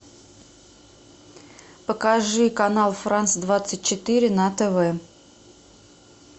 покажи канал франс двадцать четыре на тв